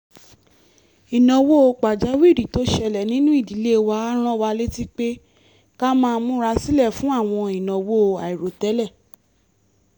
ìnáwó pàjáwìrì tó ṣẹlẹ̀ nínú ìdílé wa rán wa létí pé ká máa múra sílẹ̀ fún àwọn ìnáwó àìròtẹ́lẹ̀